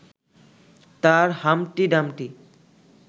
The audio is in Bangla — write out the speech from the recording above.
তাঁর হাম্পটি ডাম্পটি